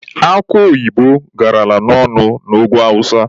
Akụ oyibo garala ọnụ na ugwu awụsa.